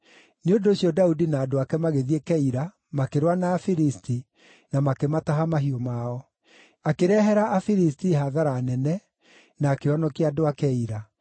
Nĩ ũndũ ũcio Daudi na andũ ake magĩthiĩ Keila, makĩrũa na Afilisti, na makĩmataha mahiũ mao. Akĩrehera Afilisti hathara nene, na akĩhonokia andũ a Keila.